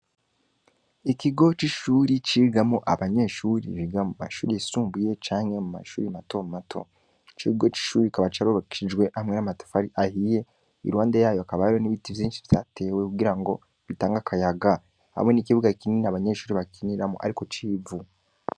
Ikigoce'ishuri cigamo abanyeshuri rigamo bashuri yisumbuye canke mu mashuri mato mato c'ikigo c'ishuri kaba carorokijwe hamwe n'amatafari ahiye i rwande yayo akabaro n'ibita vyinshi vyatewe kugira ngo bitange akayaga hamwe n'ikibuga kinini abanyeshuri bakiniramo, ariko civu.